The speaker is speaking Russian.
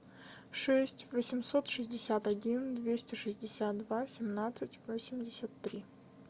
шесть восемьсот шестьдесят один двести шестьдесят два семнадцать восемьдесят три